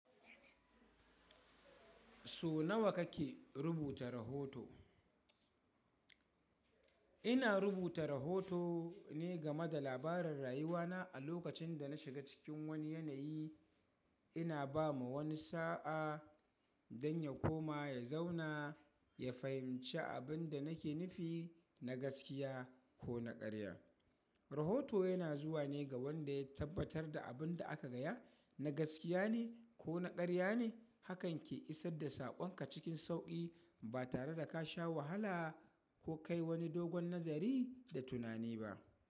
So nawa kake rubuta rahoto? Ina rubuta rahoto ne game da labaran rayuwa na a lokacin da na shiga cikin wani yanayi. Ina ba ma wani sa'a dan ya koma, ya zauna, ya fahimci abin da nake nufi na gaskiya ko na karya. Rahoto yana zuwa ne ga wanda ya tabbatar da abin da aka gaya na gaskiya ne ko na karya ne. Hakan ke isar da saƙon ka cikin sauƙi ba tare da ka sha wahala ko kai wani dogon nazari da tunani ba.